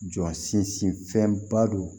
Jɔ sinsinfɛnba do